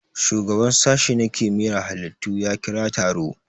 Shugaban sashe na kimiyar halittu ya kira taro